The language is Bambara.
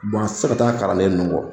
Wa a tɛ se ka taa kalanden ninnu kɔ.